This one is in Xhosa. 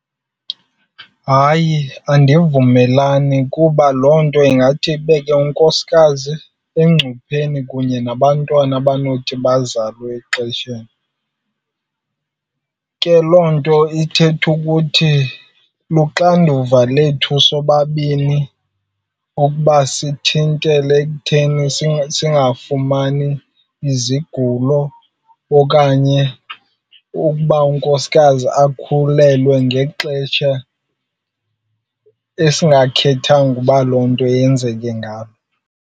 Hayi, andivumelani kuba loo nto ingathi ibeke unkosikazi engcupheni kunye nabantwana abanothi bazalwe exesheni. Ke loo nto ithetha ukuthi luxanduva lethu sobabini ukuba sithintele ekutheni singafumani izigulo okanye ukuba unkosikazi akhulelwe ngexesha esingakhethanga uba loo nto yenzeke ngalo.